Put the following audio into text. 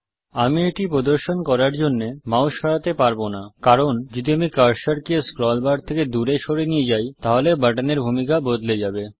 আমি এটি প্রদর্শন করার জন্যে মাউস সরাতে পারব না কারণ যদি আমি কার্সারকে স্ক্রল বার থেকে দূরে সরিয়ে নিয়ে যাই তাহলে বাটন এর ভূমিকা বদলে যাবে